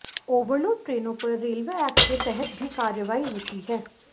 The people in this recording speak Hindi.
ओवरलोड ट्रेनों पर रेलवे एक्ट के तहत भी कार्रवाई होती है